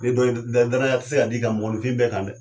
Danaya ti se ka d'i kan mɔnɔnifin bɛɛ kan dɛ!